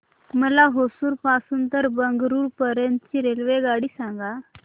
मला होसुर पासून तर बंगळुरू पर्यंत ची रेल्वेगाडी सांगा